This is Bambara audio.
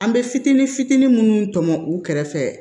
An bɛ fitinin fitinin minnu tɔmɔ u kɛrɛfɛ